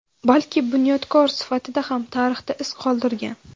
balki bunyodkor sifatida ham tarixda iz qoldirgan.